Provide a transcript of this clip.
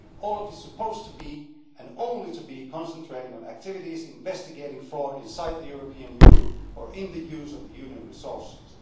OLAF is supposed to be and only to be concentrating on activities investigating fraud inside the European Union or in the use of the Union resources.